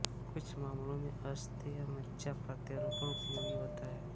कुछ मामलों में अस्थि मज्जा प्रत्यारोपण उपयोगी होता है